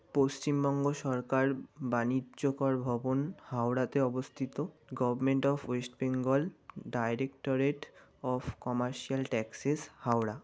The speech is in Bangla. পশ্চিমবঙ্গ সরকার বাণিজ্যকর ভবন হাওড়াতে অবস্থিত government of West Bengal directorate of commercial taxes Howrah.